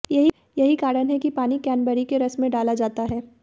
यही कारण है कि पानी क्रैनबेरी के रस में डाला जाता है